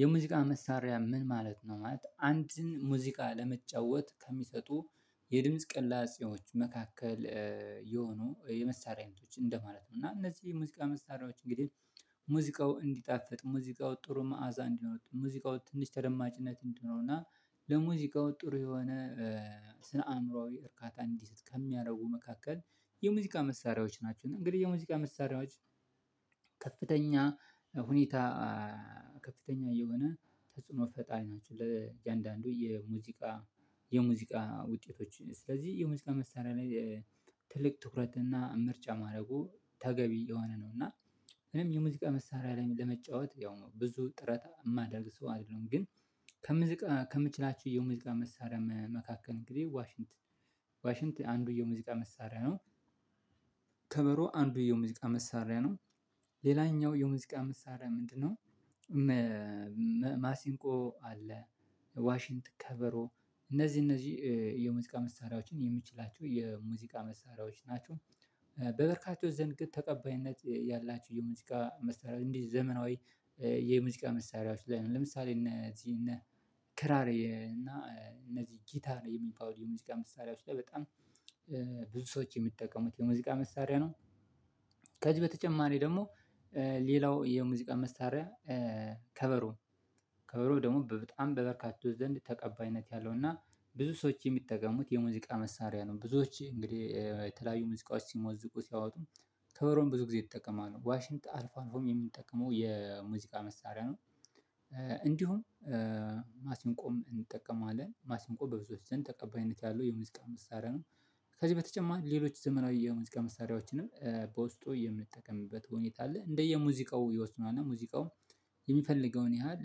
የሙዚቃ መሳሪያ ምን ማለት ነው? ማለት አንድን ሙዚቃ ለመጫወት ከሚሰጡ የድምጽ ቅላጼዎች መካከል የሆኑ የመሳሪያ አይነቶች እንደማለት ነው እና እነዚህ ሙዚቃ መሳሪያዎች እንግዲህ ሙዚቃው እንዲጣፍጥ ሙዚቃው ጥሩ መዓዛ እንዲኖረው ሙዚቃው ትንሽ ተደማጭነት እንዲኖረው እና ለሙዚቃው ጥሩ የሆነ ስነ አእምሮአዊ እርካታ እንዲሰጥ ከሚያደርጉ መካከል የሙዚቃ መሳሪያዎች ናቸው። እንግዲህ የሙዚቃ መሳሪያዎች ከፍተኛ ሁኔታ እ ከፍተኛ የሆነ ተጽዕኖ ፈጣሪ ናቸው ለእያንዳንዱ የሙዚቃ የሙዚቃ ውጤቶች ስለዚህ የሙዚቃ መሳሪያ ላይ ትልቅ ትኩረትና ምርጫ ማድረጉ ተገቢ የሆነ ነው። እና እኔም የሙዚቃ መሳሪያ ላይ ለመጫወት ያው ብዙ ጥረት የማደርግ ሰው አይደለሁም። ግን ከምዝቃ ከምችላቸው የሙዚቃ መሳሪያ መካከል እንግዲህ ዋሽንት ዋሽንት አንዱ የሙዚቃ መሳሪያ ነው። ከበሮ አንዱ የሙዚቃ መሳሪያ ነው። ሌላኛው የሙዚቃ መሳሪያ ምንድነው? ማሲንቆ አለ። ዋሽንት ከበሮ እነዚህ እነዚህ የሙዚቃ መሳሪያዎችን የምችላቸው የሙዚቃ መሳሪያዎች ናቸው። በበርካቶች ዘንድ ግን ተቀባይነት ያላቸው የሙዚቃ መሳሪያ እንዲህ ዘመናዊ እ የሙዚቃ መሳሪያዎች ላይ ነው ለምሳሌ እነ እዚህ እነ ክራር እና እነዚህ ጊታር የሚባሉ የሙዚቃ መሳሪያዎች ላይ በጣም እ ብዙ ሰዎች የሚጠቀሙት የሙዚቃ መሳሪያ ነው። ከዚህ በተጨማሪ ደግሞ እ ሌላው የሙዚቃ መሳሪያ ከበሮ ከበሮ ደግሞ በጣም በበርካታ ዘንድ ተቀባይነት ያለው እና ብዙ ሰዎች የሚጠቀሙት የሙዚቃ መሳሪያ ነው። ብዙዎች እንግዲህ እ የተለያዩ ሙዚቃዎች ሲሞዝቁ ሲያወጡ ከበሮም ብዙ ጊዜ ይጠቀማሉ ነው ዋሽንት አልፎ አልፎም የምንጠቀመው የሙዚቃ መሳሪያ ነው። እንዲሁም እ ማሲንቆም እንጠቀማለን ማሲንቆ በብዙዎች ዘንድ ተቀባይነት ያለው የሙዚቃ መሳሪያ ነው። ከዚህ በተጨማሪ ሌሎች ዘመናዊ የሙዚቃ መሳሪያዎችንም እ በውስጡ የምንጠቀምበት ሁኔታ አለ። እንደየ ሙዚቃው ይወስነዋል ሙዚቃው የሚፈልገውን ያህል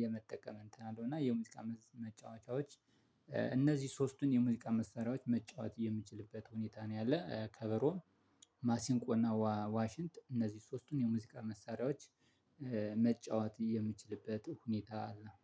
የመጠቀም እንትን አለው እና የሙዚቃ መጫወቻዎች እ እነዚህ ሶስቱን የሙዚቃ መሳሪያዎች መጫወት የምችልበት ሁኔታ ነው። ያለ ከበሮም ማሲንቆና ዋሽንት እነዚህ ሶስቱን የሙዚቃ መሳሪያዎች እ መጫወት የምችልበት ሁኔታ አለ